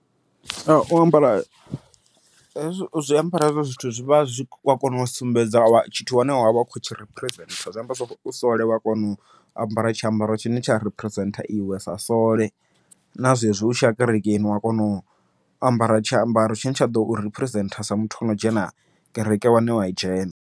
U ambara u zwiambaro hezwo zwithu zwi vha zwi kona u sumbedza tshithu tshine wa khou tshi phirizentha zwi amba zwori u sole wa kona u ambara tshi ambaro tshine tsha phirizentha iwe sa sole, na zwezwi u tshiya kerekeni wa kona u ambara tshiambaro tshine tsha ḓou phirizentha sa muthu o no dzhena kereke wane wa dzhena.